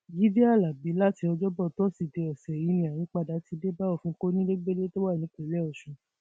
jíde alábí láti ọjọbọ tọsídẹẹ ọsẹ yìí ni àyípadà ti dé bá òfin kọnilẹgbẹlẹ tó wà nípìnlẹ ọsùn